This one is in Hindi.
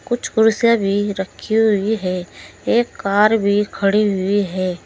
कुछ कुर्सियां भी रखी हुई है एक कार भी खड़ी हुई है।